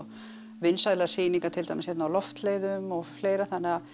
vinsælar sýningar til dæmis á Loftleiðum og fleira þannig að